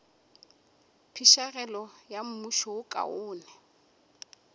phišegelo ya mmušo wo kaone